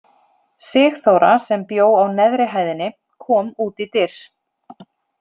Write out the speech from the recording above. Sigþóra sem bjó á neðri hæðinni kom út í dyr.